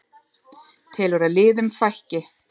Telur að liðum fækki